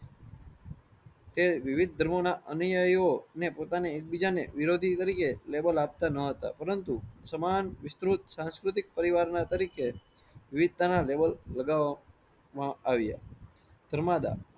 તે વીવીધ ધર્મો ના અનીય એવો ને પોતાને એકબીજા ને વિરોધી તરીકે label આપતા નો હતા. પરંતુ સમાન વિસ્તૃત સરસ્વતિ પરિવાર ના તરીકે વિવિધતાના level બનાવામાં આવ્યા. ધર્માદા